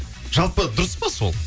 жалпы дұрыс па сол